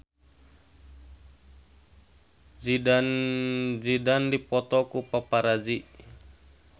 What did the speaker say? Zidane Zidane dipoto ku paparazi